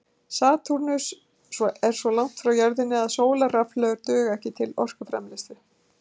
Satúrnus er svo langt frá jörðinni að sólarrafhlöður duga ekki til orkuframleiðslu.